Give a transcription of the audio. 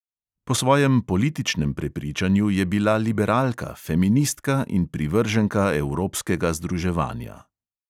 Po svojem političnem prepričanju je bila liberalka, feministka in privrženka evropskega združevanja.